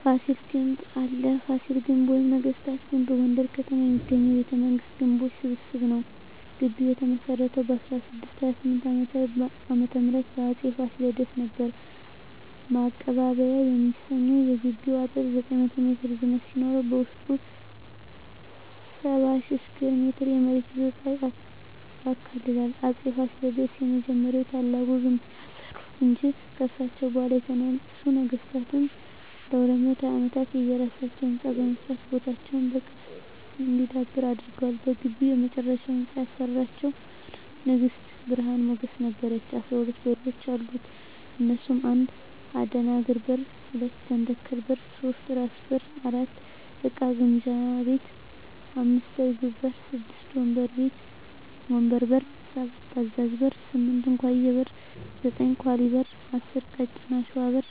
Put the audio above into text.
ፋሲል ግንብ አለ ፋሲል ግቢ ወይም ነገስታት ግቢ በጎንደር ከተማ የሚገኝ የቤተ መንግስታት ግንቦች ስብስብ ነዉ ግቢዉ የተመሰረተዉ በ1628ዓ.ም በአፄ ፋሲለደስ ነበር ማቀባበያ የሚሰኘዉ የግቢዉ አጥር 900ሜትር ርዝመት ሲኖረዉበዉስጡ 70,000ስኩየር ሜትር የመሬት ይዞታ ያካልላል አፄ ፋሲለደስ የመጀመሪያዉና ታላቁን ግንብ ያሰሩ እንጂ ከርሳቸዉ በኋላ የተነሱ ነገስታትም ለ220ዓመታት የየራሳቸዉ ህንፃ በመስራት ቦታዉ በቅርስ እንዲዳብር አድርገዋል በግቢዉ የመጨረሻዉን ህንፃ ያሰራቸዉን ንግስት ብርሀን ሞገስ ነበረች 12በሮች አሉት እነሱም 1. አደናግር በር 2. ጃንተከል በር 3. ራስ በር 4. እቃ ግምጃ ቤት 5. እርግብ በር 6. ወንበር በር 7. አዛዥ በር 8. እንኮዬ በር 9. ኳሊ በር 10. ቀጭን አሽዋ በር